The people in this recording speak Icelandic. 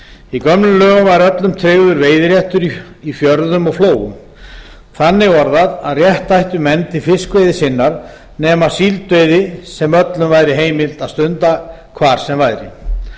í gömlum lögum var öllum tryggður veiðiréttur í fjörðum og flóum þannig orðað að rétt ættu menn til fiskveiði sinnar nema síldveiði sem öllum væri heimilt að stunda hvar sem væri